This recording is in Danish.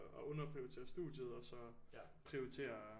Underprioritere studiet og så prioritere